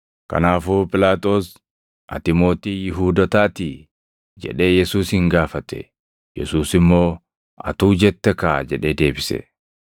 Kanaafuu Phiilaaxoos, “Ati mootii Yihuudootaatii?” jedhee Yesuusin gaafate. Yesuus immoo, “Atuu jette kaa!” jedhee deebise.